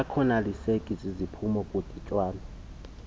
akakoneliseki ziziphumo kungadityanwa